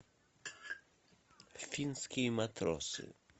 финские матросы